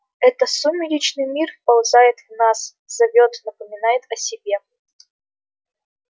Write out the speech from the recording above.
это сумеречный мир вползает в нас зовёт напоминает о себе